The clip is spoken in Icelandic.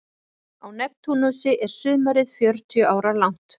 Á Neptúnusi er sumarið fjörutíu ára langt.